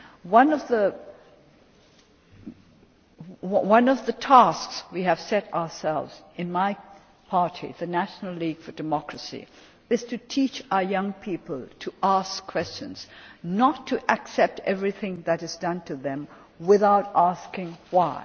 One of the tasks we have set ourselves in my party, the National League for Democracy, is to teach our young people to ask questions and not to accept everything that is done to them without asking why.